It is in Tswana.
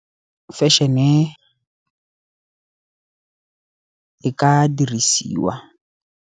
Fashion-e e ka dirisiwa.